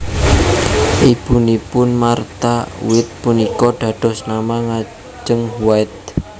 Ibunipun Martha White punika dados nama ngajeng White